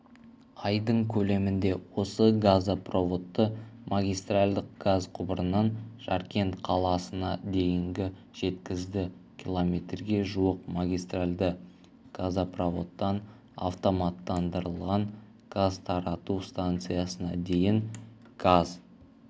айдың көлемінде осы газопроводты магистральдық газ құбырынан жаркент қаласына дейін жеткізді километрге жуық магистральды газопроводтан автоматтандырылған газ тарату станциясына дейін газ